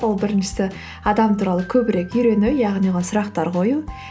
ол біріншісі адам туралы көбірек үйрену яғни оған сұрақтар қою